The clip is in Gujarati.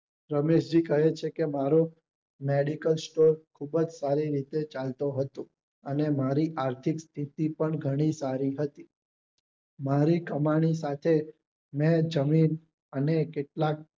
રમેશ જી કહે છે કે મારે medical store ખુબ જ સારી રીતે ચાલતું હતું અને મારી આર્થિક સ્થિતિ પણ ઘણી સારી હતી મારી કમાણી સાથે મેં જમીન અને કેટલાક